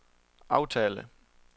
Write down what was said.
aftale